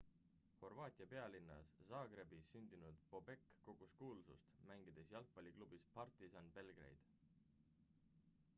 horvaatia pealinnas zagrebis sündinud bobek kogus kuulsust mängides jalgapalliklubis partizan belgrade